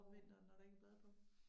Om vinteren når der ikke er blade på